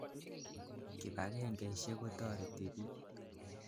Kipakengeisyek kotoreti piik.